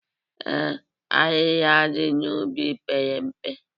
Ee, ahịhịa dị n'ubi pere mpe.